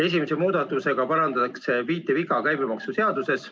Esimese muudatusega parandatakse viiteviga käibemaksuseaduses.